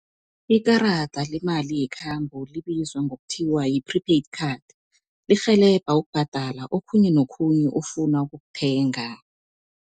Ikarada lemali yekhambo libizwa ngokuthiwa yi-prepaid card, lirhelebha ukubhadala okhunye nokhunye ofuna ukukuthenga.